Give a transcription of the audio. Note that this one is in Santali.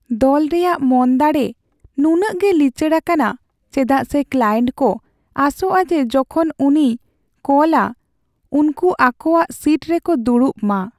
ᱫᱚᱞ ᱨᱮᱭᱟᱜ ᱢᱚᱱᱫᱟᱲᱮ ᱱᱩᱱᱟᱹᱜ ᱜᱮ ᱞᱤᱪᱟᱹᱲ ᱟᱠᱟᱱᱟ ᱪᱮᱫᱟᱜ ᱥᱮ ᱠᱞᱟᱭᱮᱱᱴ ᱠᱚ ᱟᱥᱚᱜᱼᱟ ᱡᱮ ᱡᱚᱠᱷᱚᱱ ᱩᱱᱤᱭ ᱠᱚᱞᱟ ᱩᱱᱠᱩ ᱟᱠᱚᱣᱟᱜ ᱥᱤᱴ ᱨᱮᱠᱚ ᱫᱩᱲᱩᱵ ᱢᱟ ᱾